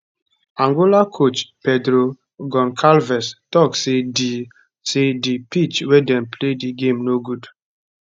angola coach pedro goncalves tok say di say di pitch wia dem play di game no good